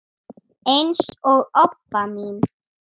eins og Obba mín.